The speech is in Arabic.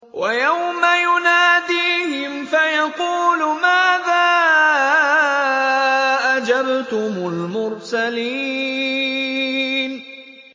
وَيَوْمَ يُنَادِيهِمْ فَيَقُولُ مَاذَا أَجَبْتُمُ الْمُرْسَلِينَ